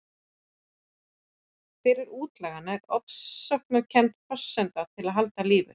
Fyrir útlagann er ofsóknarkenndin forsenda þess að halda lífi.